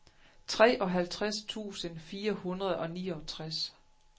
treoghalvtreds tusind fire hundrede og niogtres